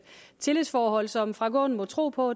tillidsforhold som herre frank aaen må tro på